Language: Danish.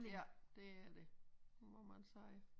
Ja det er det